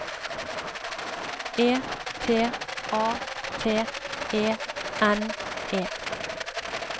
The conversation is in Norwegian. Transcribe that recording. E T A T E N E